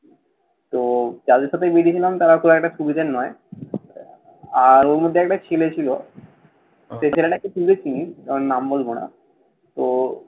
তো যাদের সাথে বেরিয়েছিলাম তারা খুব একটা সুবিধের নয়। আর ওর মধ্যে একটা ছেলে ছিল, সেই ছেলেটাকে তুইও চিনিস। করো নাম বলবো না। তো